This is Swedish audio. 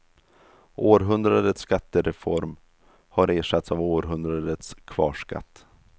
Århundradets skattereform har ersatts av århundradets kvarskatt.